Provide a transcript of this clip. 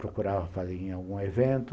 Procurava fazer em algum evento.